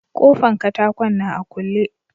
Kofan katakon na a kule.